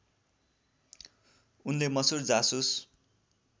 उनले मसुर जासुस